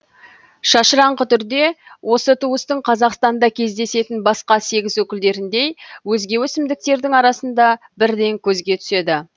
шашыраңқы түрде осы туыстың қазақстанда кездесетін басқа сегіз өкілдеріндей өзге өсімдіктердің арасында бірден көзге түседі